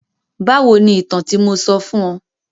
Báwo ni ìtàn tí mo sọ fún ọ?